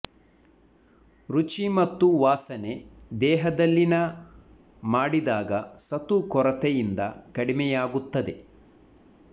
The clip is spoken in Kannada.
ರುಚಿ ಮತ್ತು ವಾಸನೆ ದೇಹದಲ್ಲಿನ ಮಾಡಿದಾಗ ಸತು ಕೊರತೆಯಿಂದ ಕಡಿಮೆಯಾಗುತ್ತದೆ